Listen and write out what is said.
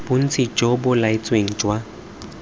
bontsi jo bo laetsweng jwa